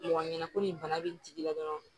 Mɔgɔ ɲɛna ko nin bana be nin tigi la dɔrɔn